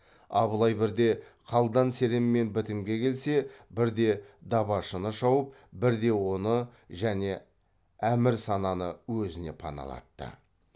абылай бірде қалдан серенмен бітімге келсе бірде дабашыны шауып бірде оны және әмірсананы өзіне паналатты